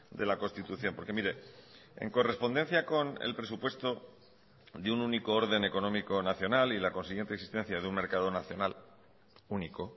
de la constitución porque mire en correspondencia con el presupuesto de un único orden económico nacional y la consiguiente existencia de un mercado nacional único